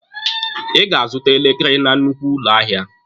Ị ga-azụta elekere na nnukwu ụlọ ahịa!